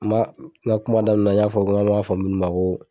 N b'a n ka kuma daminɛ na n y'a fɔ ko an b'a fɔ munnu ko